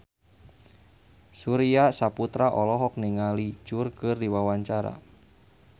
Surya Saputra olohok ningali Cher keur diwawancara